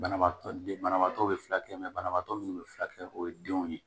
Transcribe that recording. Banabaatɔ den banabaatɔ bɛ furakɛ banabaatɔ minnu bɛ furakɛ o ye denw ye